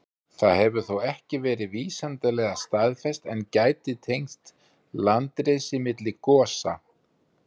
Það hefur þó ekki verið vísindalega staðfest, en gæti tengst landrisi milli gosa.